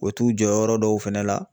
U bɛ t'u jɔyɔrɔ dɔw fɛnɛ la